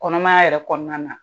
Kɔnɔmaya yɛrɛ kɔnɔna na.